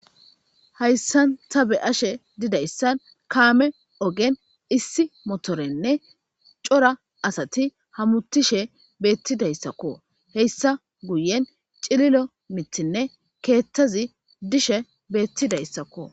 Hayssan ta be ashe didayssan kaame ogen issi motorenne cora asati hamutishe beettidayssakko heyssa guyen cililo mitinne keettazi dishe beettidayssakko.